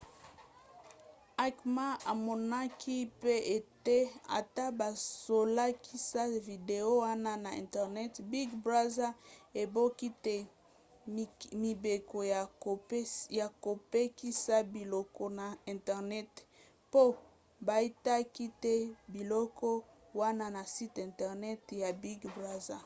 acma amonaki pe ete ata bazolakisa video wana na internet big brother ebuki te mibeko ya kopekisa biloko na internet mpo baitaki te biloko wana na site internet ya big brother